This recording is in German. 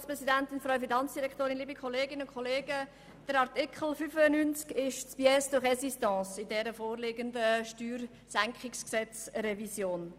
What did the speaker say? Artikel 95 ist die Pièce de résistance in der vorliegenden Steuersenkungs-Gesetzesrevision.